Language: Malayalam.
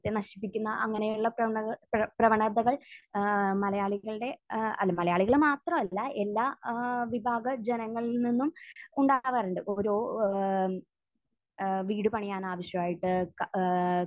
നശിപ്പിക്കുന്ന അങ്ങനെയുള്ള പ്രവണങ്ങ...പ്ര...പ്രവണതകൾ ഏഹ് മലയാളികളുടെ ഏഹ് അല്ല മലയാളികൾ മാത്രമല്ല എല്ലാ ഏഹ് വിഭാഗ ജനങ്ങളിൽ നിന്നും ഉണ്ടാകാറുണ്ട്. ഓരോ ഏഹ് ഏഹ് വീട് പണിയാൻ ആവശ്യമായിട്ട് ക...ഏഹ്